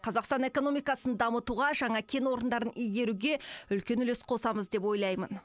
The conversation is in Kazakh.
қазақстан экономикасын дамытуға жаңа кен орындарын игеруге үлес қосамыз деп ойлаймын